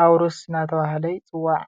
አዉርስ እናተብሃለ ይፅዋዕ።